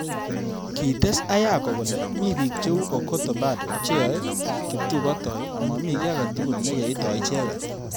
Kites Ayako kole mi bik cheu Okoth Obado cheyai kiptubotoi amami ki age tugul nekeitoi icheget.